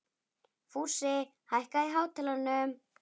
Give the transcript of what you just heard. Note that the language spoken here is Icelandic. Fúsi, hækkaðu í hátalaranum.